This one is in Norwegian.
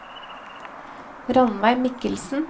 Rannveig Michelsen